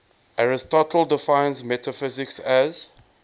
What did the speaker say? aristotle defines metaphysics as